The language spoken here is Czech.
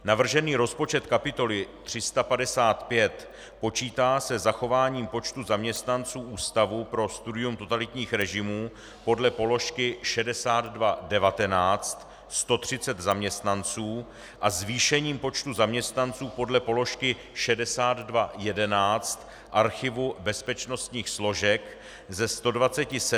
Navržený rozpočet kapitoly 355 počítá se zachováním počtu zaměstnanců Ústavu pro studium totalitních režimů podle položky 6219 - 130 zaměstnanců - a zvýšením počtu zaměstnanců podle položky 6211 Archivu bezpečnostních složek ze 127 na 157 zaměstnanců.